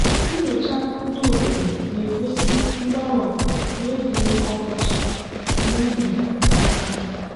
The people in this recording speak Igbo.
nyocha ndị obodo na-egosi mgbawa n'oge ọkọchị n'ubi ọka.